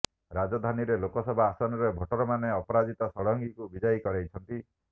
ରାଜଧାନୀରେ ଲୋକସଭା ଆସନରେ ଭୋଟରମାନେ ଅପରାଜିତା ଷଡ଼ଙ୍ଗୀକୁ ବିଜୟୀ କରାଇଛନ୍ତି